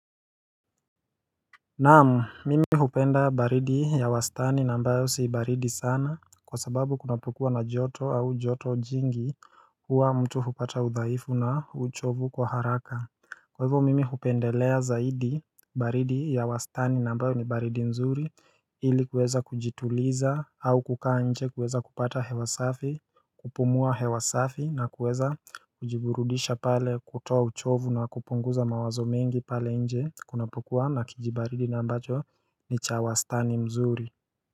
Naam, mimi hupenda baridi ya wastani na ambayo si baridi sana kwa sababu kunapokua na joto au joto jingi huwa mtu hupata udhaifu na uchovu kwa haraka. Kwa hivyo mimi hupendelea zaidi baridi ya wastani na ambayo ni baridi nzuri ili kuweza kujituliza au kukaa nje kuweza kupata hewa safi kupumua hewa safi na kuweza kujiburudisha pale kutoa uchovu na kupunguza mawazo mengi pale nje Kuna pukuwa na kijibaridi na ambacho ni cha wastani mzuri.